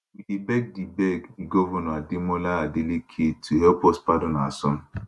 we dey beg di beg di govnor ademola adeleke to help us pardon our son